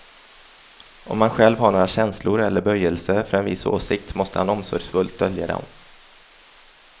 Om han själv har några känslor eller böjelser för en viss åsikt, måste han omsorgsfullt dölja dem.